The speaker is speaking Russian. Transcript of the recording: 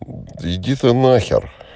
иди ты на хер